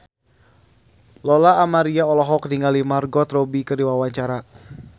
Lola Amaria olohok ningali Margot Robbie keur diwawancara